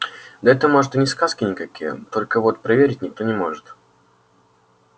да это может и не сказки никакие только вот проверить никто не может